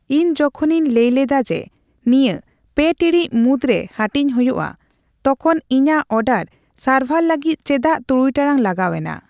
ᱤᱧ ᱡᱚᱛᱚᱠᱷᱚᱱ ᱞᱟᱹᱭ ᱦᱩᱭᱞᱮᱱᱟ ᱡᱮ ᱱᱤᱭᱟᱹ ᱯᱮ ᱴᱤᱲᱤᱡ ᱢᱩᱫᱨᱮ ᱦᱟᱹᱴᱤᱧ ᱦᱩᱭᱩᱜᱼᱟ ᱛᱚᱠᱦᱚᱱ ᱤᱧᱟᱜ ᱳᱰᱟᱨ ᱥᱟᱨᱵᱦᱟᱨ ᱞᱟᱹᱜᱤᱫ ᱪᱮᱫᱟᱜ ᱛᱩᱨᱩᱭ ᱴᱟᱲᱟᱝ ᱞᱟᱜᱟᱣ ᱮᱱᱟ ᱾